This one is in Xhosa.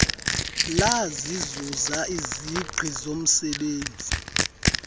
lasizuza isingqi somzebenzi